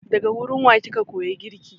Daga gurin wa kika koyi girki?